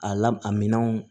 A la a minɛnw